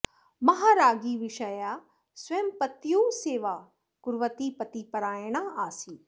महाराज्ञी विषया स्वयं पत्युः सेवां कुर्वती पतिपारायणा आसीत्